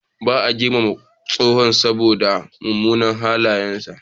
Ba a girmama tsohon saboda munanan halayensa.